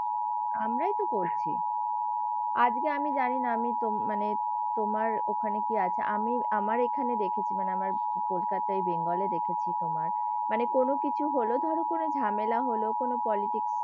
আমরাই তো করছি। আজকে আমি জানি না আমিতো মানে, তোমার ওখানে কি আছে? আমি আমার এখানে দেখেছি মানে আমার কলকাতায় বেঙ্গলে দেখেছি। তোমার মানে কোনো কিছু হলো ধর কোনো ঝামেলা হল কোন politics